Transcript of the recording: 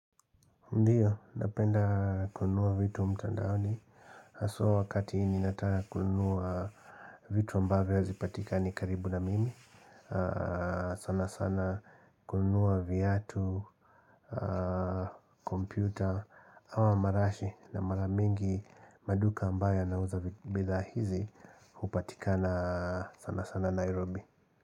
Ndio, napenda kunua vitu mtandaoni. Aswa wakati ninataka kununua vitu ambavyo hazipatikani karibu na mimi. Sana sana kununua viatu, kompyuta, ama marashi na maramingi maduka ambayo yanauza bidhaa hizi upatikanaji sana sana Nairobi.